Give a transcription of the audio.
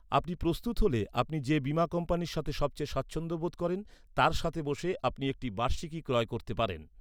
আপনি প্রস্তুত হলে, আপনি যে বীমা কোম্পানির সাথে সবচেয়ে স্বাচ্ছন্দ্য বোধ করেন তার সাথে বসে আপনি একটি বার্ষিকী ক্রয় করতে পারেন।